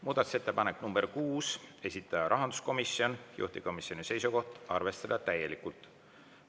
Muudatusettepanek nr 6, esitaja on rahanduskomisjon, juhtivkomisjoni seisukoht on arvestada täielikult.